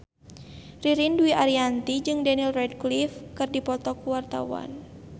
Ririn Dwi Ariyanti jeung Daniel Radcliffe keur dipoto ku wartawan